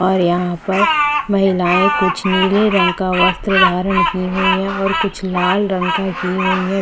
और यहाँ पर महिलाए कुछ नीले रंग का वस्त्र धारण की हुई है और कुछ लाल रंग का की हुई है।